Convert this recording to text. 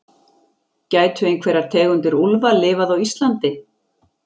Gætu einhverjar tegundir úlfa lifað á Íslandi?